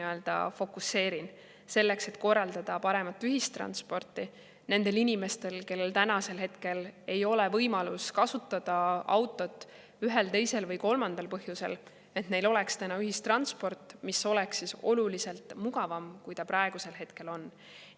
et korraldada paremat ühistransporti nendele inimestele, kellel ei ole võimalust kasutada autot ühel, teisel või kolmandal põhjusel, et neil oleks ühistransport, mis oleks oluliselt mugavam, kui ta praegu on.